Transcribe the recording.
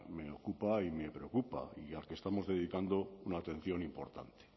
me ocupa y me preocupa y al que estamos dedicando una atención importante